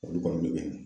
Olu kɔni bɛ